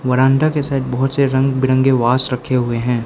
बरामदा के साइड में बहोत से रंग बिरंगे वाश रखे हुए हैं।